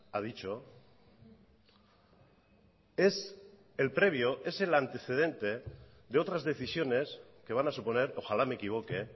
ha dicho es el previo es el antecedente de otras decisiones que van a suponer ojalá me equivoque